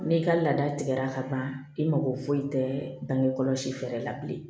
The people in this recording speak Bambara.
N'i ka laada tigɛra ka ban i mako foyi tɛ bange kɔlɔsi fɛɛrɛ la bilen